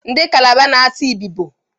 Ndị kalabar na-asụ Ibibo.